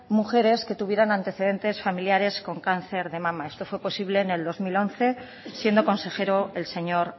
mujeres que tuvieron antecedentes familiares con cáncer de mama esto fue posible en el dos mil once siendo consejero el señor